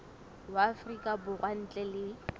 wa afrika borwa ntle le